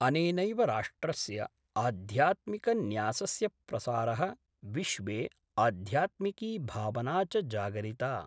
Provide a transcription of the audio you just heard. अनेनैव राष्ट्रस्य आध्यात्मिक न्यासस्य प्रसारः विश्वे आध्यात्मिकी भावना च जागरिता।